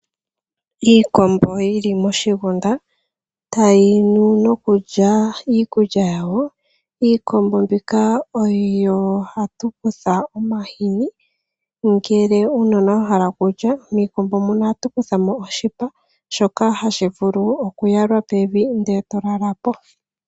Iikombo yili moshigunda tayi nu nokulya iikulya yawo. Iikombo mbika oyo hatu kutha omahini uuna uunona wa hala okulya oha tu kuthako wo oshipa shoka hashi vulu okuyalwa pevi nde to lalapo.